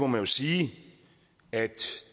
man sige at